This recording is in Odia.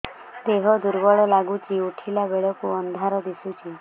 ଦେହ ଦୁର୍ବଳ ଲାଗୁଛି ଉଠିଲା ବେଳକୁ ଅନ୍ଧାର ଦିଶୁଚି